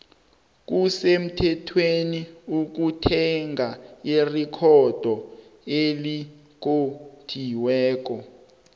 kusemuthethweni ukuthenga irecodo elikotjiwekona